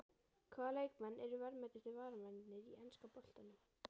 Hvaða leikmenn eru verðmætustu varamennirnir í enska boltanum?